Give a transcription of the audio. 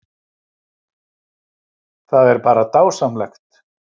Það er bara dásamlegt